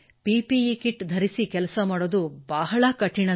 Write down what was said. PPE kit ಧರಿಸಿ ಕೆಲಸ ಮಾಡುವುದು ಬಹಳ ಕಠಿಣ